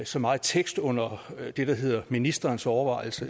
så meget tekst under det der hedder ministeriets overvejelser